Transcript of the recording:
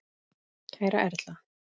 Kæra Erla.